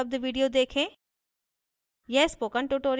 निम्न link पर उपलब्ध video देखें